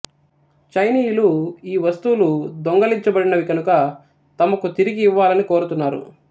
చైనీయులు ఈ వస్తువులు దింగిలించబడినవి కనుక తమకు తిరిగి ఇవ్వాలని కోరుతున్నారు